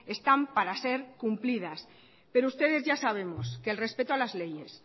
están para ser cumplidas pero ustedes ya sabemos que el respeto a las leyes